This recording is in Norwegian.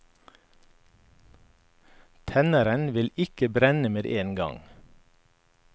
Tenneren ville ikke brenne med en gang.